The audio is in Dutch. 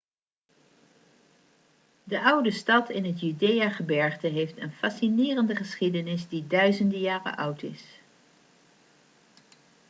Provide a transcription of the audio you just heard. de oude stad in het judeagebergte heeft een fascinerende geschiedenis die duizenden jaren oud is